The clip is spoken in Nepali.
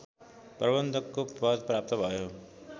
प्रबन्धकको पद प्राप्त भयो